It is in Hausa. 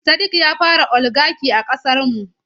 Sadiq ya fara oligaki a ƙasar mu.